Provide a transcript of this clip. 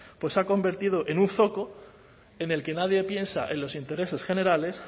se ha convertido en un zoco en el que nadie piensa en los intereses generales